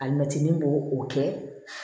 Alimɛtini b'o o kɛ